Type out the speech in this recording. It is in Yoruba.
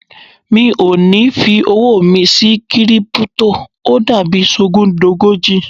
Mi ò ní fi owó mi sí Kírípútò, ó dàbí sọgúndogójì.